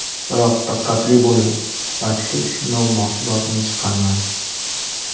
Biroq diqqatli bo‘ling: sifatsiz sinov mahsulotini chiqarmang.